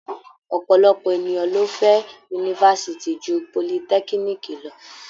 Ọ̀pọ̀lọpọ̀ ènìyàn ló fẹ́ yunifásitì ju politẹ́kíníìkì lọ.